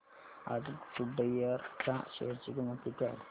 आज गुडइयर च्या शेअर ची किंमत किती आहे